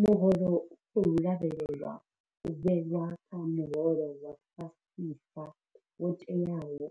Muholo u khou lavhelelwa u vhewa kha muholo wa fhasisa wo tewaho